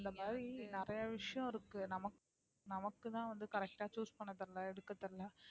இந்தமாறி நிறைய விஷயம் இருக்கு நமக்கு நமக்குதான் வந்து correct ஆ correct பண்ண தெரியலே எடுக்க தெரியலே